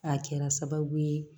A kɛra sababu ye